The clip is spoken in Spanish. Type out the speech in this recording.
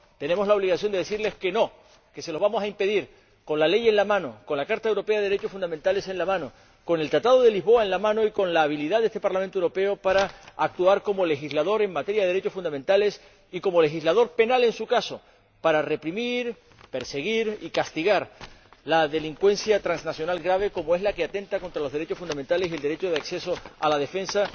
Tenemos la obligación de decirles que no, que se lo vamos a impedir, con la ley en la mano, con la Carta Europea de los Derechos Fundamentales en la mano, con el Tratado de Lisboa en la mano y con la habilidad de este Parlamento Europeo para actuar como legislador en materia de derechos fundamentales y como legislador penal, en su caso, para reprimir, perseguir y castigar la delincuencia transnacional grave, como es la que atenta contra los derechos fundamentales, el derecho de acceso a la defensa,